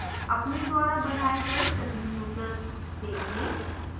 अपने द्वारा बनाए गए सभी users देखें